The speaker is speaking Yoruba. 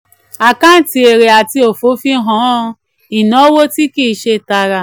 àkáǹtì èrè àti òfò fi hàn ìnáwó tí kì í ṣe tààrà.